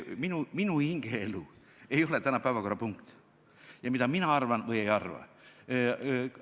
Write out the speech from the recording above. Minu hingeelu ega see, mida mina arvan või ei arva, ei ole tänase päevakorra punkt.